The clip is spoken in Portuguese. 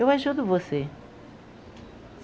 Eu ajudo você.